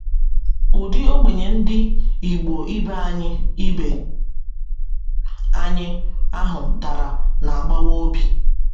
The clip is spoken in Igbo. Ụdị ogbenye Ndị igbo ibe anyị ibe anyị ahụ dara na - agbawa obi.